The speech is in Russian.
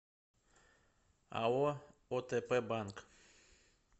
ао отп банк